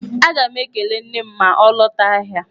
Aga m ekele nne m ma ọ lọta ahịa.